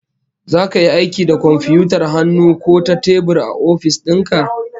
Zaka yi aiki da komfiyutar hannu ko ta tebur a ofis din ka?